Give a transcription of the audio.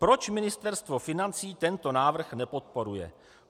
Proč Ministerstvo financí tento návrh nepodporuje?